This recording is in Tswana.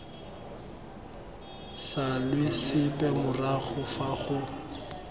salwe sepe morago fa go